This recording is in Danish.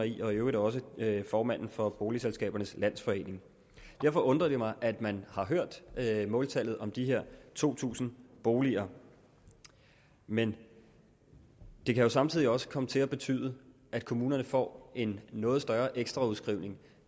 i øvrigt også formanden for boligselskabernes landsforening derfor undrer det mig at man har hørt måltallet om de her to tusind boliger men det kan jo samtidig også komme til at betyde at kommunerne får en noget større ekstra udskrivning